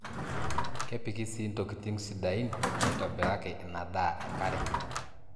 Kepiki sii ntokitin sidaain naaitobiraki ina daa enkare.